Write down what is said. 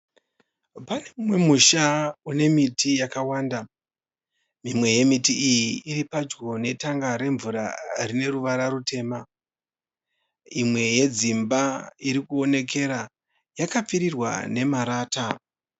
Pane musha une miti yakawanda. lmwe yemiti iyi iri padyo netanga remvura rine ruvara rutema ,imwe yedzimba uri kuonekera yakapfirirwa nemarata